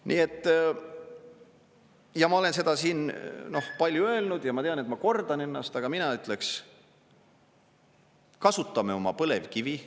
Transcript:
Nii et … ja ma olen seda siin palju öelnud ja ma tean, et ma kordan ennast, aga mina ütleks: kasutame oma põlevkivi.